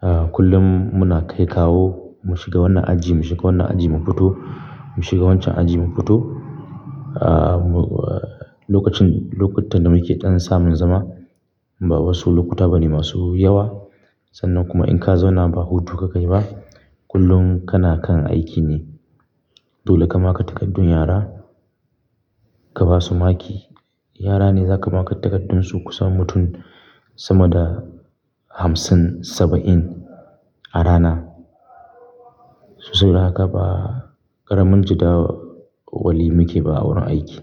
Ah, kullum muna kai kawo, mu shiga wannan aji, mu shiga wannan aji mu fito, mu shiga wancan aji mu fito. Ah, lokacin, lokutan da muke ɗan samun zama, ba wasu lokuta bane masu yawa. Sannan kuma in ka zauna ba hutu ka kai ba, kullum kana kan aiki ne. Dole ka maka takardun yara, ka basu maki. Yara ne za ka maka takardunsu kusan mutum sama da hamsin saba'in a rana. Sabida haka ba ƙaramin jadawali muke ba a wurin aiki.